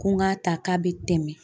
Ko n k'a ta k'a bɛ tɛmɛ